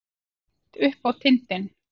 Beint upp á tindinn.